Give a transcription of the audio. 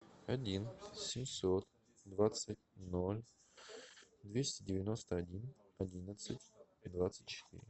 один семьсот двадцать ноль двести девяносто один одиннадцать двадцать четыре